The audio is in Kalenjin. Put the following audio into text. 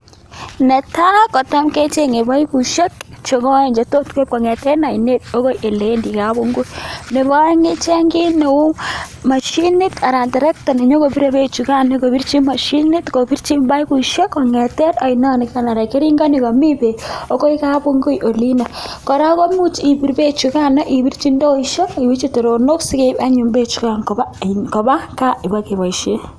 Netai kotam kechenge baibushek chegoen chetot keib en ainet okoi eleendi kabungui Nebo aeng ichen kit Neu mashinit anan terekta nenyokoine bek chukan kobirchi mashinit ak baibushek en ainon nikan ak nikamii bek akoi kabungui Olin koraa komuch ibir bek chugano ibirchi indoishek akibirchi teronik anyun bek chukan Koba ka keba kebaishen